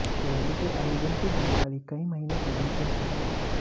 rally के आयोजन की जानकारी कई महीनों पहले से ही थी